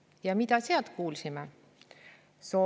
Ja mida me seal kuulsime?